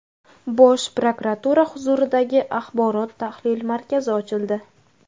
Bosh prokuratura huzuridagi axborot-tahlil markazi ochildi.